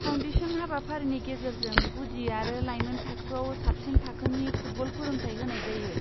Foundation हाबाफारिनि गेजेरजों गुदि आरो लाइमोन थाखोआव साबसिन थाखोनि फुटबल फोरोंथाय होनाय जायो।